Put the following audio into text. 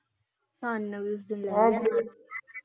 ਹਨ ਵੀ ਹੋਲੀ ਹੋਲੀ ਸਕੂਟਰੀ ਤੇ ਲੈ ਜਾਂਦਾ ਮੈਨੂੰ ਤੇ ਪਤਾ ਹੈ।